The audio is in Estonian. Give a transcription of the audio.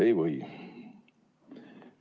Ei või.